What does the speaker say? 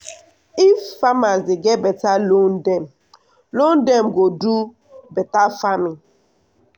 if farmers dey get beta loan dem loan dem go do beta farming.